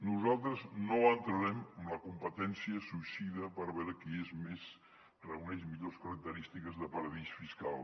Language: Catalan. nosaltres no entrarem en la competència suïcida per veure qui reuneix millors característiques de paradís fiscal